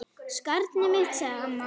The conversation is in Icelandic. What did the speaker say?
Skarnið mitt, sagði amma.